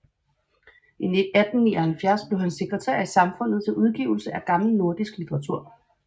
I 1879 blev han sekretær i Samfundet til Udgivelse af gammel nordisk Litteratur